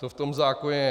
To v tom zákoně je.